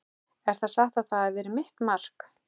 Er það satt að þetta hafi verið mitt mark?